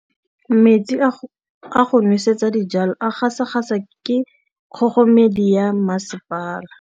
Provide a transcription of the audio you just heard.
Metsi a go nosetsa dijalo a gasa gasa ke kgogomedi ya masepala.